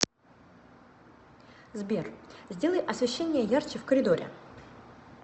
сбер сделай освещение ярче в коридоре